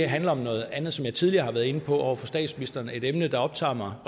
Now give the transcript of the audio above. handler om noget andet som jeg tidligere har været inde på over for statsministeren er et emne der optager mig og